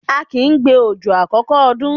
A kìí gbé òjò àkọ́kọ́ ọdún.